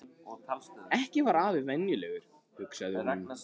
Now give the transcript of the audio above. Ekki var afi venjulegur, hugsaði hún.